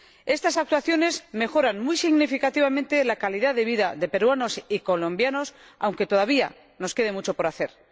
Estas actuaciones mejoran muy significativamente la calidad de vida de peruanos y colombianos, aunque todavía nos quede mucho por hacer.